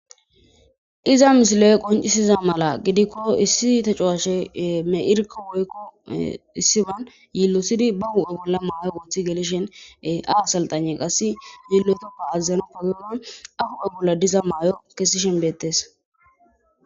Iza misilo'e qoncisiza mala gidikko issi te cuwashe me irko woykko issiban yillosidi ba hu'e bolla maayo goothi gelishen a saltane qassi yillotoppa azazenoppagoodan ahu'e bolla diza maayo kessi shenbeettes.